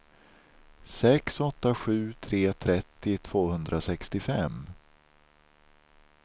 sex åtta sju tre trettio tvåhundrasextiofem